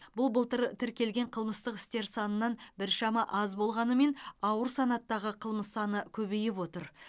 бұл былтыр тіркелген қылмыстық істер санынан біршама аз болғанымен ауыр санаттағы қылмыс саны көбейіп отыр